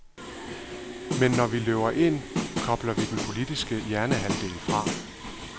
Men når vi køber ind, kobler vi den politiske hjernehalvdel fra.